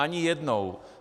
Ani jednou.